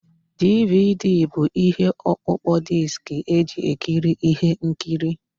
DVD bụ ihe ọkpụkpọ diski eji ekiri ihe nkiri